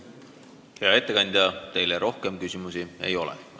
Hea ettekandja, teile rohkem küsimusi ei ole.